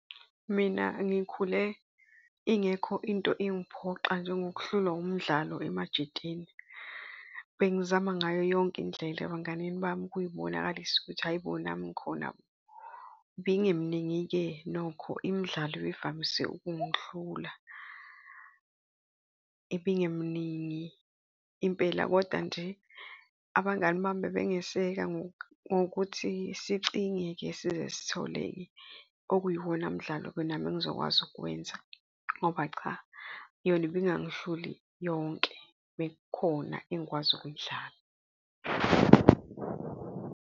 Mina ngikhule ingekho into engiphoxa njengokuhlulwa umdlalo emajiteni. Bengizama ngayo yonke indlela ebanganini bami, ukuyibonakalisa ukuthi hhayi bo, nami ngikhona bo. Ibingeminingi-ke nokho imidlalo evamise ukungihlula. Ibingeminingi impela, kodwa nje abangani bami bebengeseke ngokuthi sicinge-ke size sithole-ke okuyiwona mdlalo-ke nami engizokwazi ukuwenza ngoba cha, yona ibingangihluli yonke, bekukhona engikwazi ukuyidlala.